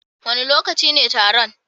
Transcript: Wane lokaci ne taron?